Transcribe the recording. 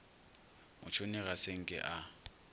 motšhoni ga se nke a